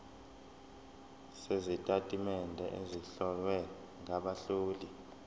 sezitatimende ezihlowe ngabahloli